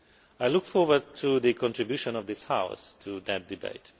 I look forward to the contribution of this House to that debate.